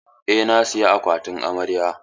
Eh, na saya akwatin amarya.